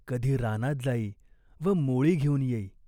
कधी रानात जाई व मोळी घेऊन येई.